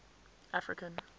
african